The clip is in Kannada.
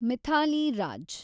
ಮಿಥಾಲಿ ರಾಜ್